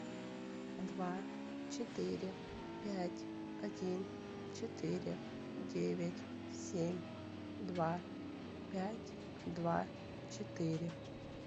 два четыре пять один четыре девять семь два пять два четыре